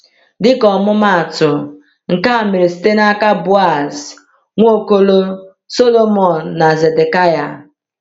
Dịka ọmụmaatụ, nke a mere site n’aka Boaz, Nwaokolo, Sọlomon, na Zedekịa.